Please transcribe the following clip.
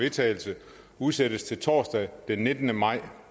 vedtagelse udsættes til torsdag den nittende maj